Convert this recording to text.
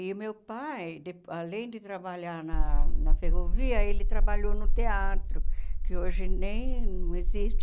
E o meu pai, de além de trabalhar na na ferrovia, ele trabalhou no teatro, que hoje nem existe.